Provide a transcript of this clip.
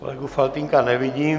Kolegu Faltýnka nevidím.